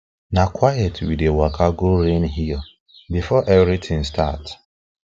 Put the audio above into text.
na quiet we dey waka go rain hill before everything start